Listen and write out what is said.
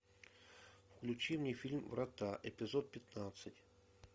включи мне фильм врата эпизод пятнадцать